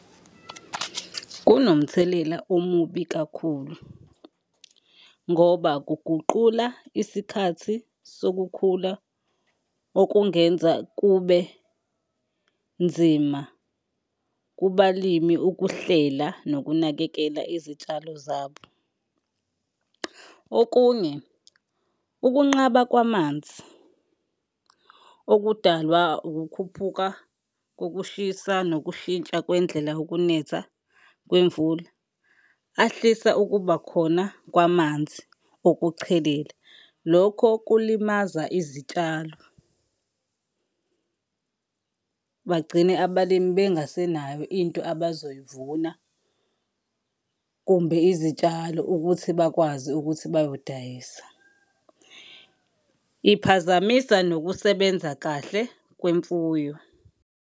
Kunomthelela omubi kakhulu ngoba kuguqula isikhathi sokukhula okungenza kube nzima kubalimi ukuhlela nokunakekela izitshalo zabo. Okunye, ukunqaba kwamanzi okudalwa ukukhuphuka kokushisa nokushintsha kwendlela ukunetha kwemvula, ahlisa ukuba khona kwamanzi okuchelela lokho kulimaza izitshalo. Bagcine abalimi bengasenayo into abazoyivuna kumbe izitshalo ukuthi bakwazi ukuthi bayodayisa. Iphazamisa nokusebenza kahle kwemfuyo.